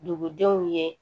Dugudenw ye